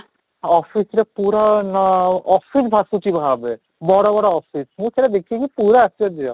office ରେ ଭାଷୁଛି ଭାବେ, ବଡ଼ ବଡ଼ office ମୁଁ ସେଇଟା ଦେଖି କି ପୁରା ଆଶ୍ଚର୍ଯ୍ୟ